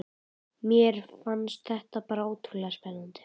Mér fannst þetta bara svo ótrúlega spennandi.